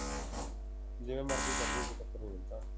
ਜਿਵੇਂ ਮਰਜੀ ਕਰਲੀ ਕੋਈ ਚੱਕਰ ਨੀ ਉਹ ਤਾ